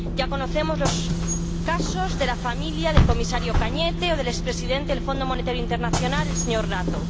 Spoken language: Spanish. Ya conocemos los casos de la familia del comisario Cañete o del expresidente el Fondo Monetario Internacional, el señor Rato.